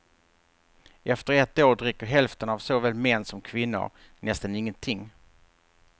Efter ett år dricker hälften av såväl män som kvinnor nästan ingenting.